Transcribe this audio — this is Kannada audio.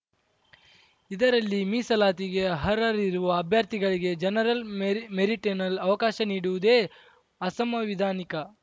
ಇದರಲ್ಲಿ ಮೀಸಲಾತಿಗೆ ಅರ್ಹರಿರುವ ಅಭ್ಯರ್ಥಿಗಳಿಗೆ ಜನರಲ್‌ ಮೆರಿಟ್‌ನಲ್ಲಿ ಅವಕಾಶ ನೀಡುವುದೇ ಅಸಂವಿಧಾನಿಕ